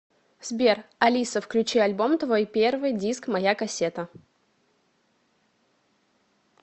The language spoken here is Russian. сбер алиса включи альбом твой первый диск моя кассета